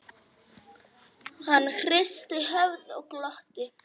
Hann hristi höfuðið og glotti.